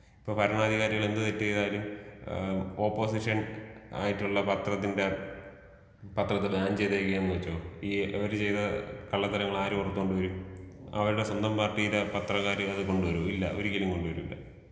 ഇപ്പോ ഭരണാധികാരികൾ എന്ത് തെറ്റ് ചെയ്താലും ഏ ഓപ്പോസിഷൻ ആയിട്ടുള്ള പത്രത്തിന്റെ പത്രത്തിനെ ബാൻ ചെയ്തേക്കുവാണെന്ന് വെച്ചോ ഈ അവര് ചെയ്ത കള്ളത്തരങ്ങൾ ആര് പൊറത്ത് കൊണ്ട് വരും? അവരുടെ സ്വന്തം പാർട്ടീടെ പത്രക്കാര് കൊണ്ട് വരോ ?ഇല്ല ഒരിക്കലും കൊണ്ടുവരില്ല.